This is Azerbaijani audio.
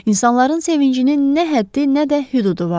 İnsanların sevincinin nə həddi, nə də hüdudu vardı.